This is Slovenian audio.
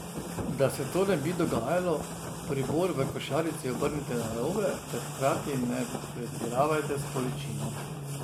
Da se to ne bi dogajalo, pribor v košarici obrnite narobe ter hkrati ne pretiravajte s količino.